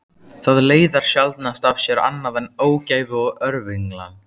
Það leiðir sjaldnast af sér annað en ógæfu og örvinglan.